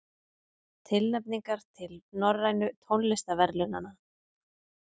Tilnefningar til Norrænu tónlistarverðlaunanna